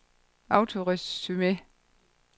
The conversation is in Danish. autoresume